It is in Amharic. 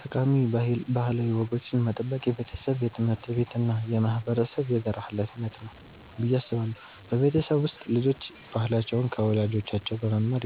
ጠቃሚ ባህላዊ ወጎችን መጠበቅ የቤተሰብ፣ የትምህርት ቤት እና የማህበረሰብ የጋራ ሀላፊነት ነው ብዬ አስባለሁ። በቤተሰብ ውስጥ ልጆች ባህላቸውን ከወላጆቻቸው በመማር